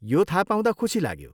यो थाहा पाउँदा खुसी लाग्यो ।